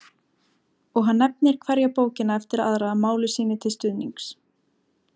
Og hann nefnir hverja bókina eftir aðra máli sínu til stuðnings.